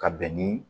Ka bɛn ni